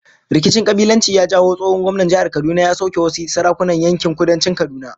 Rikicin kabilanci ya jawo tsohon gwamnan jihar Kaduna ya sauke wasu sarakunan yankin Kudancin Kaduna